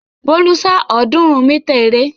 Bólú sá ọ̀ọ́dúnrún mítà eré.